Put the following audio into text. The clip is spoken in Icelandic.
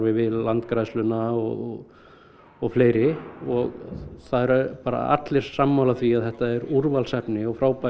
við Landgræðsluna og og fleiri og það eru allir sammála því að þetta er úrvalsefni og frábær